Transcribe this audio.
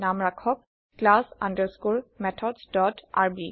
নাম ৰাখক class underscore methods dot RB